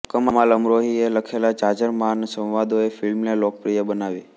કમાલ અમરોહી એ લખેલા જાજરમાન સંવાદોએ ફીલ્મને લોકપ્રિય બનાવી